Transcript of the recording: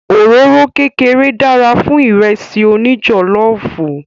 Òróró kékeré dára fún Ìrẹ́sì òní jọ̀lọ́ọ̀fù